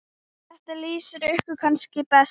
Þetta lýsir ykkur kannski best.